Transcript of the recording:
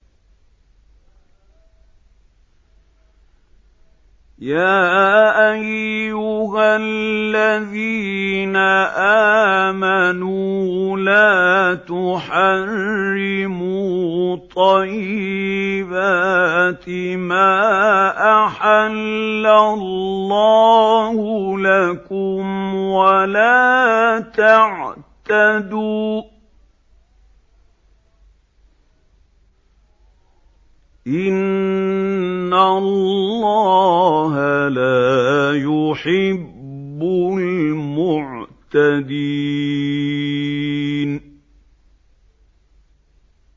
يَا أَيُّهَا الَّذِينَ آمَنُوا لَا تُحَرِّمُوا طَيِّبَاتِ مَا أَحَلَّ اللَّهُ لَكُمْ وَلَا تَعْتَدُوا ۚ إِنَّ اللَّهَ لَا يُحِبُّ الْمُعْتَدِينَ